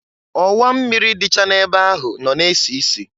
Ọwa mmịrị dịcha na-ebe ahụ nọ na-esisi.